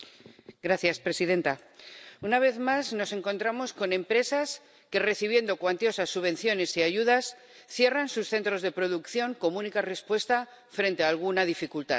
Señora presidenta, una vez más nos encontramos con empresas que, recibiendo cuantiosas subvenciones y ayudas, cierran sus centros de producción como única respuesta frente a alguna dificultad.